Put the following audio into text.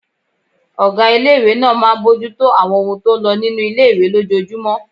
Ọgá ilé-ìwé náà máa n bojútó àwọn ohun tó n lọ nínu ilé-ìwé lójojúmọ́